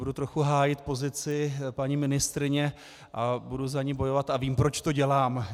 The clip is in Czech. Budu trochu hájit pozici paní ministryně a budu za ni bojovat a vím, proč to dělám.